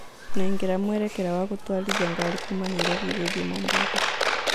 nengera mũerekera wa gũtũarĩthĩa garĩ Kuma Nairobi gũthĩĩ Mombasa